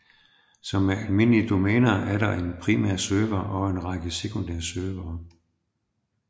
Som med almindelige domæner er der en primær server og en række sekundære servere